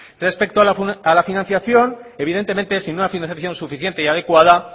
respecto a la financiación evidentemente sin una financiación suficiente y adecuada